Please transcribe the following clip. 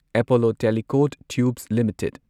Apollo Tricoat tubes limited